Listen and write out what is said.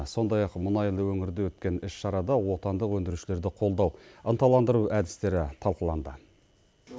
сондай ақ мұнайлы өңірде өткен іс шарада отандық өндірушілерді қолдау ынталандыру әдістері талқыланды